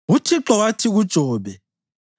UThixo wathi kuJobe: